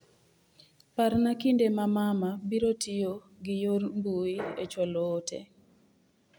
Parna kinde ma mama biro tiyo gi yor mbui e chwalo ote.